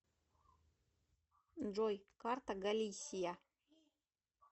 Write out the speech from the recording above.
джой карта галисия